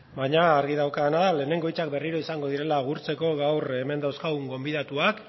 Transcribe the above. baina argi daukadana da lehenengo hitzak izango direla berriro agurtzeko gaur hemen dauzkagun gonbidatuak